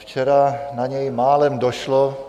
Včera na něj málem došlo.